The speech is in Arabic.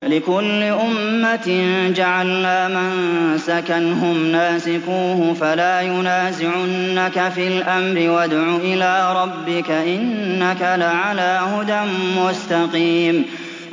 لِّكُلِّ أُمَّةٍ جَعَلْنَا مَنسَكًا هُمْ نَاسِكُوهُ ۖ فَلَا يُنَازِعُنَّكَ فِي الْأَمْرِ ۚ وَادْعُ إِلَىٰ رَبِّكَ ۖ إِنَّكَ لَعَلَىٰ هُدًى مُّسْتَقِيمٍ